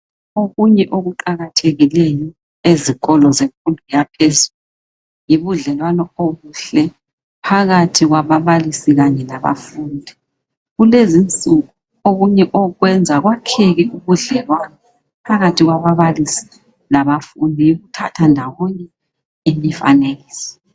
Okunye okuqathekileyo ezikolo zemfundo yaphezulu yibudlelwano obuhle phakathi kwababalisi kanye labafundi. Kulezi insuku okunye okwenza kwakheke ubudlelwano phakathi kwababalisi labafundi yikuthatha ndawonye imifanekiso.